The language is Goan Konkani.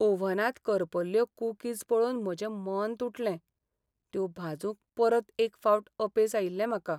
ओव्हनांत करपल्ल्यो कुकीज पळोवन म्हजें मन तुटलें. त्यो भाजूंक परत एक फावट अपेस आयिल्लें म्हाका.